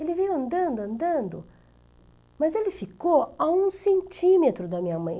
Ele veio andando, andando, mas ele ficou a um centímetro da minha mãe.